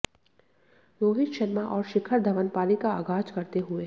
रोहित शर्मा और शिखर धवन पारी का आगाज करते हुए